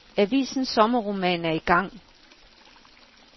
Avisens sommerroman er i gang.